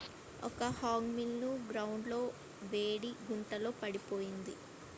ఒక hangi meal ను ground లో వేడి గుంటలో వండుతారు